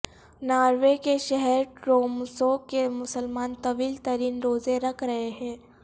Norway کے شہر Tromso کے مسلمان طویل ترین روزے رکھ رہے ہیں